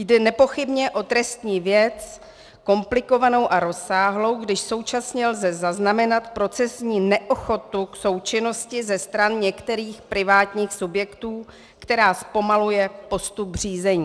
Jde nepochybně o trestní věc, komplikovanou a rozsáhlou, když současně lze zaznamenat procesní neochotu k součinnosti ze stran některých privátních subjektů, která zpomaluje postup řízení.